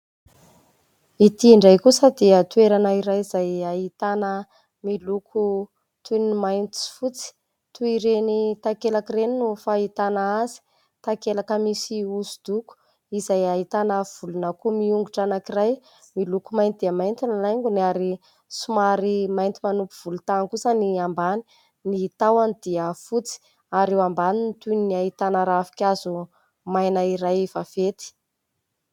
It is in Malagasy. Ity indray kosa dia toerana iray izay ahitana miloko toy ny mainty sy fotsy, toy ireny takelaka ireny no fahitana azy, takelaka misy hosodoko izay ahitana volon'akoho miongotra anankiray, miloko mainty dia mainty ny laingony ary somary mainty manopy volontany kosa ny ambany, ny tahony dia fotsy ary eo ambany ny toy ny ahitana ravin-kazo maina iray efa vaventy.